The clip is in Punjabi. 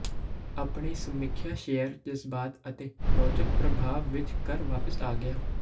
ਆਪਣੇ ਸਮੀਖਿਆ ਸ਼ੇਅਰ ਜਜ਼ਬਾਤ ਅਤੇ ਰੌਚਕ ਪ੍ਰਭਾਵ ਵਿਚ ਘਰ ਵਾਪਸ ਆ ਗਿਆ